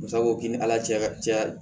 Musa ko k'i ni ala cɛ ya